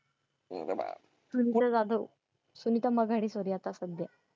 Sunita Jadhav. Sunita Maghari sir याचा सध्या.